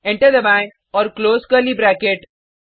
enter दबाएँ और close curly bracket